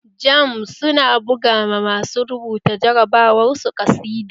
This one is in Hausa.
Jamb su na buga ma masu rubuta jarabawar su ƙasida